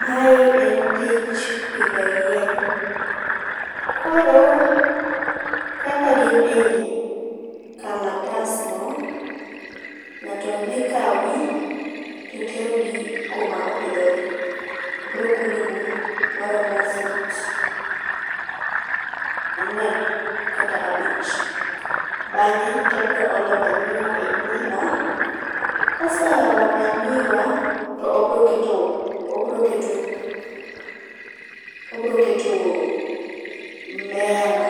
Mae en tich pidho yien, koro kaka gin ei kalatas no ngato dhi kawgi to terogi kuma opidhogi, obiro kunyo bur maromo fut angwen kata abich. Bange to obiro olo manyiwa e bur no, ka oseolo manyiwa to obro keto, obro keto, obro keto mimea no